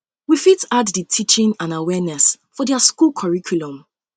we fit add di teaching and awareness for their school curriculum um